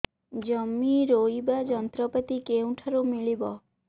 ଜମି ରୋଇବା ଯନ୍ତ୍ରପାତି କେଉଁଠାରୁ ମିଳିବ